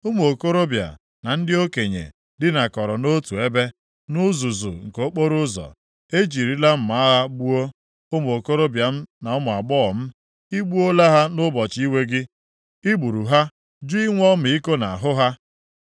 “Ụmụ okorobịa na ndị okenye dinakọrọ nʼotu ebe, nʼuzuzu nke okporoụzọ. E jirila mma agha gbuo ụmụ okorobịa m na ụmụ agbọghọ m. I gbuola ha nʼụbọchị iwe gị; i gburu ha jụ inwe ọmịiko nʼahụ ha.